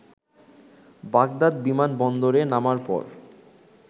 Baghdad বিমান বন্দরে নামার পর